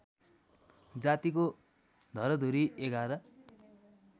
जातिको घरधुरी ११